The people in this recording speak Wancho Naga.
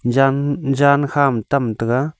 jan jan khama tam taga.